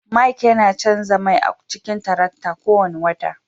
Mike yana canza mai a cikin tarakta kowane wata